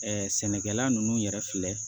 sɛnɛkɛla ninnu yɛrɛ filɛ